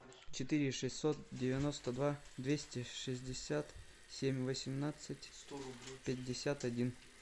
четыре шестьсот девяносто два двести шестьдесят семь восемнадцать пятьдесят один